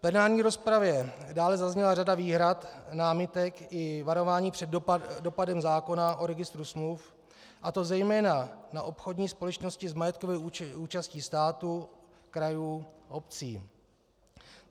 V plenární rozpravě dále zazněla řada výhrad, námitek i varování před dopadem zákona o registru smluv, a to zejména na obchodní společnosti s majetkovou účastí státu, krajů, obcí.